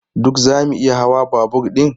Duk zamu iya hawa babur ɗin?